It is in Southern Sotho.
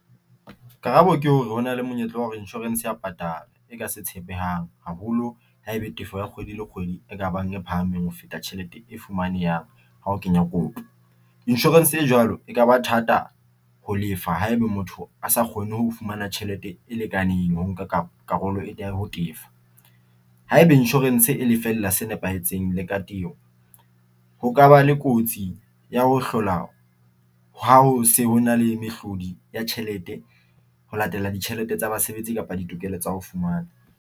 Karabo ke hore hona le monyetla wa hore insurance ya patala e ka se tshepehang haholo ha e le tefo ya kgwedi le kgwedi e ka bang e phahameng ho feta tjhelete e fumanehang ha o kenya kopo. Insurance e jwalo e ka ba thata ho lefa haeba motho a sa kgone ho fumana tjhelete e lekaneng ho nka karolo ya ho tefa haeba insurance e lefella se nepahetseng le ka ho kaba le kotsi ya ho hlola ha ho se hona le mehlodi ya tjhelete ho latela ditjhelete tsa basebetsi kapa ditokelo tsa ho fumana.